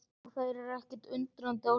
Og þær eru ekkert undrandi á svarinu.